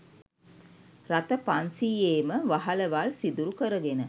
රථ පන්සීයේම වහලවල් සිදුරු කරගෙන